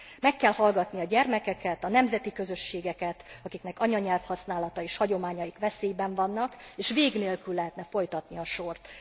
Meg kell hallgatni a gyermekeket, a nemzeti közösségeket, akiknek anyanyelvhasználata és hagyományaik veszélyben vannak, és vég nélkül lehetne folytatni a sort.